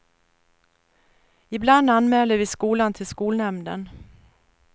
Ibland anmäler vi skolan till skolnämnden.